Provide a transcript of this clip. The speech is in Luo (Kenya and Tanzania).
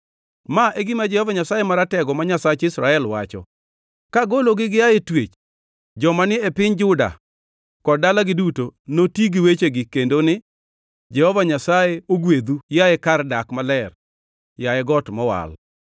Ma e gima Jehova Nyasaye Maratego, ma Nyasach Israel, wacho: “Kagologi gia e twech, joma ni e piny Juda kod dalagi noti gi wechegi kendo ni: ‘Jehova Nyasaye ogwedhu, yaye kar dak maler, yaye got mowal.’